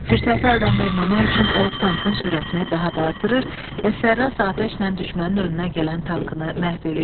Fürsəti əldən verməmək üçün o tankın sürətini daha da artırır və sərrast atəşlə düşmənin önünə gələn tankını məhv eləyir.